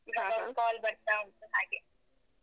ಈವಾಗ ಅವರದ್ದು call ಬರ್ತಾ ಉಂಟು ಹಾಗೆ.